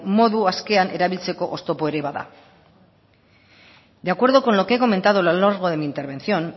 modu askean erabiltzeko oztopo ere bada de acuerdo con lo que he comentado a lo largo de mi intervención